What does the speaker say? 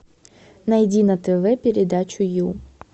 найди на тв передачу ю